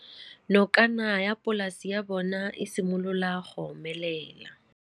Nokana ya polase ya bona, e simolola go omelela.